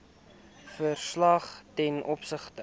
verslag ten opsigte